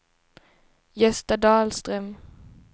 Gösta Dahlström